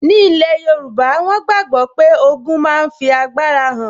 Ní ilẹ̀ yóòbá, wọ́n gbàgbọ́ pé ogun máa fi agbára hàn